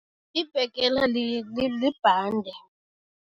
Ibhegela libhande.